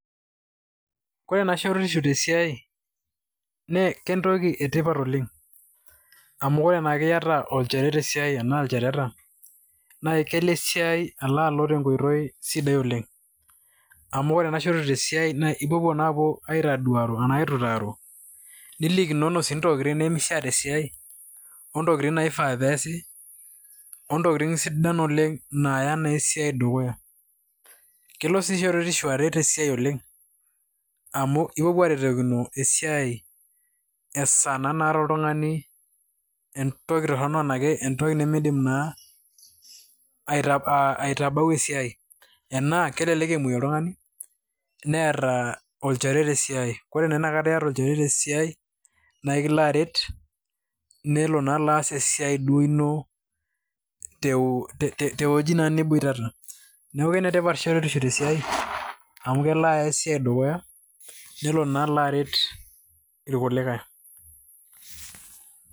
Kore naa shueretisho te siai nee kentoki e tipat oleng' amu kore naake iayata olchore, te siai enaa ilchoreta naa kelo esia alo alo te nkoitoi sidai oleng' amu ore ena shuoretesho te siai ipopuo naa aapuo aitaduaro anae aitutaro, nilikinono sii ntokitin nemishaa te siai o ntokitin naifaa pee easi, o ntokitin sidan oleng' naya esiai dukuya. Kelo sii shuoretisho aret esia oleng' amu ipopuo aretokino esiai esaa naa naata oltung'ani entoki torono ashu entoki nemidim aitabau esiai, enaa kelelek emuei oltung'ani, neeta olchore te siai. Kore naa eniyata olchore te siai nae kilo aret nelo naa aas esia duo ino tewueji niboitata. Neeku enetipat naa shoruetisho te siai amu kelo aya esiai dukuya nelo naa alo aret ilkulikai.